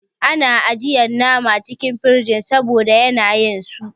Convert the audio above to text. Ana ajiyan nama cikin friza saboda yanayin su.